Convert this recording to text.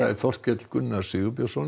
Þorkell Gunnar Sigurbjörnsson